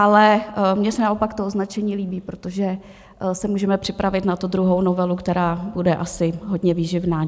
Ale mně se naopak to označení líbí, protože se můžeme připravit na tu druhou novelu, která bude asi hodně výživná.